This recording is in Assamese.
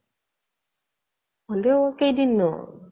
হলেও কেইদিন নো